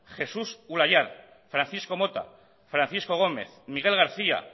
jesús ulayar francisco mota francisco gómez miguel garcía